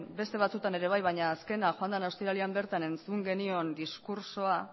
beste batzuetan ere bai baina azkena joan den ostiralean bertan entzun genion diskurtsoa